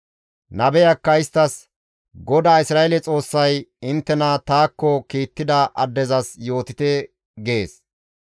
Nabeyakka isttas, «GODAA Isra7eele Xoossay, ‹Inttena taakko kiittida addezas yootite› gees.